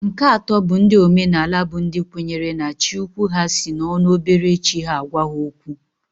Nke atọ bụ ndị omenaala bụ ndị kwenyere na Chi ukwu ha si n'ọnụ obere chi ha agwa ha okwu.